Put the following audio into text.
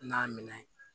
N'a minɛ